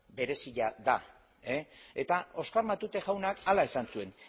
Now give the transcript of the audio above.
berezia da eta oskar matute jaunak hala esan zuen